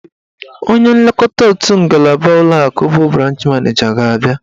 Onye nlekọta otu ngalaba ụlọakụ bụ branch maneja ga-abịa.